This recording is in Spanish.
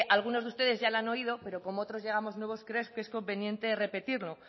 algunos de ustedes ya la han oído pero como otros llegamos nuevos creo que es conveniente repetirlo